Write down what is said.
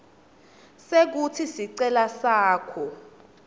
sekutsi sicelo sakho